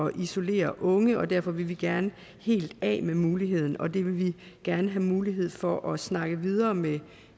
at isolere unge og derfor vil vi gerne helt af med muligheden og det vil vi gerne have mulighed for at snakke videre med